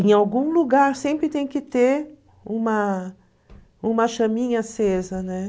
Em algum lugar sempre tem que ter uma uma chaminha acesa, né?